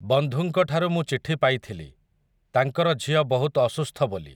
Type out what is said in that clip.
ବନ୍ଧୁଙ୍କଠାରୁ ମୁଁ ଚିଠି ପାଇଥିଲି, ତାଙ୍କର ଝିଅ ବହୁତ୍ ଅସୁସ୍ଥ ବୋଲି ।